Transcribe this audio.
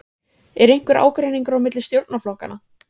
Lillý: Er einhver ágreiningur á milli stjórnarflokkanna?